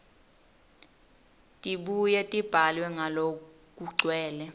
tibuye tibhalwe ngalokugcwele